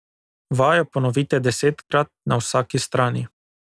Vajo ponovite desetkrat na vsaki strani.